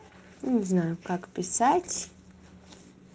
не знаю как писать